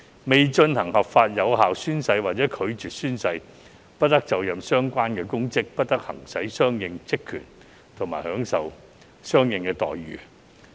未進行合法有效宣誓或者拒絕宣誓，不得就任相應公職，不得行使相應職權和享受相應待遇。